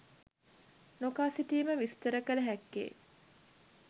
නොකා සිටීම විස්තර කළ හැක්කේ